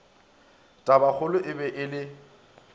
tabakgolo e be e le